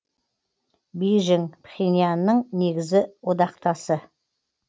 бейжің пхеньянның негізі одақтасы